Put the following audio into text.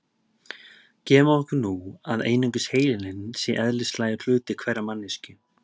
Gefum okkur nú að einungis heilinn sé eðlislægur hluti hverrar manneskju.